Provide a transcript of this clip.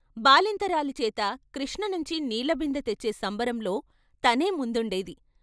బాలెంతరాలిచేత కృష్ణనించి నీళ్ళబిందె తెచ్చే సంబరంలో తనే ముందుండేది.